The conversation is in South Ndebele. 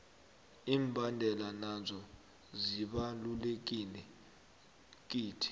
imbandana nazo zibalulekile kithi